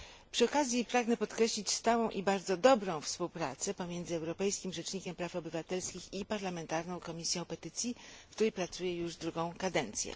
Przy okazji pragnę podkreślić stałą i bardzo dobrą współpracę pomiędzy Europejskim Rzecznikiem Praw Obywatelskich i parlamentarną Komisją Petycji, w której pracuję już drugą kadencję.